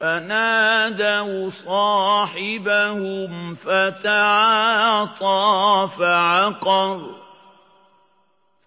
فَنَادَوْا صَاحِبَهُمْ فَتَعَاطَىٰ فَعَقَرَ